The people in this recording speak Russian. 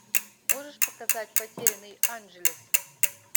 можешь показать потерянный анджелес